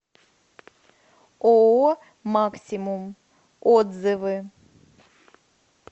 ооо максимум отзывы